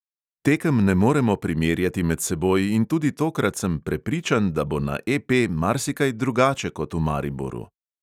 Tekem ne moremo primerjati med seboj in tudi tokrat sem prepričan, da bo na EP marsikaj drugače kot v mariboru.